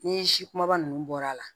Ni si kumaba ninnu bɔr'a la